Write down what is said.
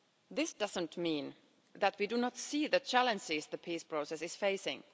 This doesn't mean that we do not see the challenges the peace process is facing.